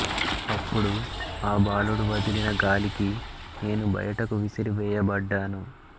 అప్పుడు ఆ బాలుడు వదిలిన గాలికి నేను బయటకు విసిరి వేయబడ్డాను